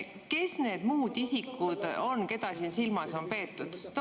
Kes need muud isikud on, keda siin silmas on peetud?